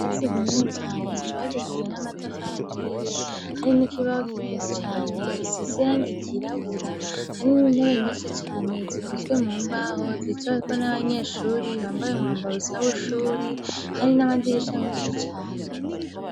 Ikirasi kinini cane cubakishijwe n'amatafari aturiye hari n'ikibaho kinini cane gisize iragi ry'irabura hari n'intebe nyinshi cane zikozwe mu mbaho zicaweko n'abanyeshuri bambaye umwambaro usa nuw'ishuri, hari n'amadirisha menshi cane.